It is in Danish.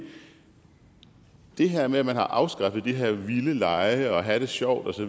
det her med at man har afskaffet de her vilde lege og at have det sjovt